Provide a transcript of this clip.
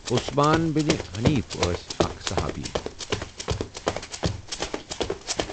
عثمان بن حنیف ٲسؠ اَکھ صُحابی